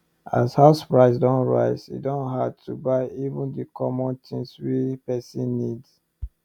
as house price don rise e don hard to buy even the common things wey person need